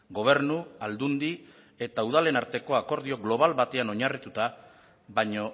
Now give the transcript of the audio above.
gobernu aldundi eta udalen arteko akordio globala batean oinarrituta baino